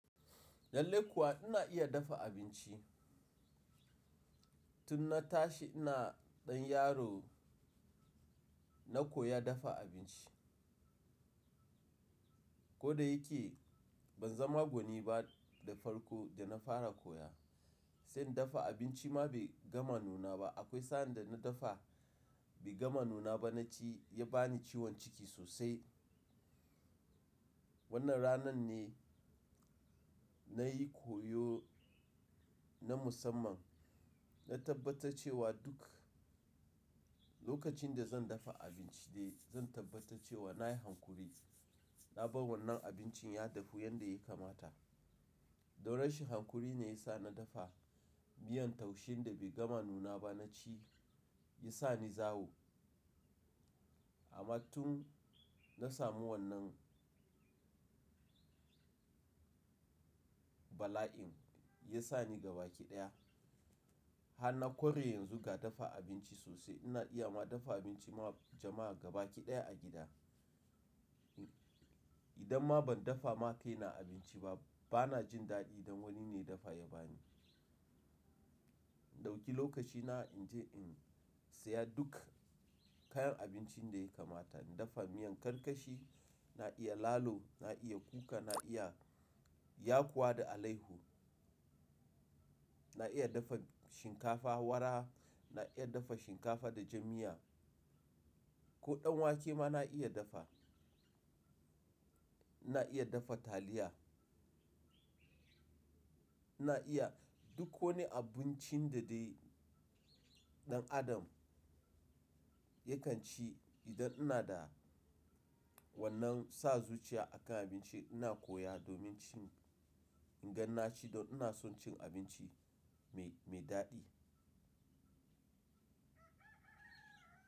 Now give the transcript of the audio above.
Lalle kuwa ina iya dafa abinci. Tun na tashi ina ɗan yaro na koya dafa abinci. Ko da yake ban zama gwani ba da farko da na fara koya, sai in dafa abinci ma bai gama nuna ba. Akwai sa'in da na dafa bai gama nuna ba, na ci ya ba ni ciwon ciki sosai. Wannan ranan ne na yi koyo na musamman. Na tabbatar cewa duk lokacin da zan dafa abinci dai zan tabbatar cewa na yi hankuri. Na bar wannan abincin ya dahu yanda ya kamata. Don rashin hankuri ne ya sa na dafa miyan taushen da bai gama nuna ba na ci ya sa ni zawo. Amma tun na samu wannan bala'in ya sa ni gabaki ɗaya. Hanna kore yanzu ga dafa abinci sosai. Ina iya ma dafa abinci ma jama'a gaba kiɗaya a gida. Idan ma ban dafa ma kai na abinci ba, ba na jin daɗi idan wani ne ya dafa ya ba ni. Dauki lokaci na in je in saya duk kayan abincin da ya kamata, na dafa miyan karkashi, na iya lalo, na iya kuka, na iya yakuwa da alaihu. Na iya dafa shinkafa wara, na iya dafa shinkafa da jan miya. Ko ɗanwake ma na iya dafa. Na iya dafa taliya. Na iya duk wani abincin da dai ɗan adam yakan ci. Idan ina da wannan sa zuciya a kan abinci ina koya domin cin in ganna ci don ina son cin abinci mai, mai daɗi.